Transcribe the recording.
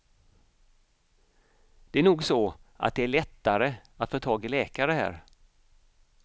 Det är nog så att det är lättare att få tag i läkare här.